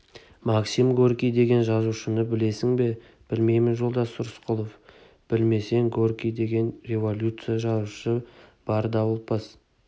максим горький деген жазушыны білесің бе білмеймін жолдас рысқұлов білмесең горький деген революция жазушысы бар дауылпаз